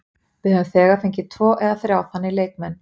Við höfum þegar fengið tvo eða þrjá þannig leikmenn.